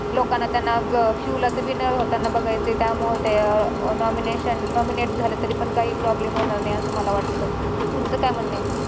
लोकांना त्यांना अं शिव ला तर winner होताना बघायचं आहे त्यामुळे ते अं nomination nominate झाले तरीपण काही problem होणार नाही असं मला वाटतं. तुमचं काय म्हणणं आहे?